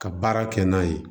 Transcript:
Ka baara kɛ n'a ye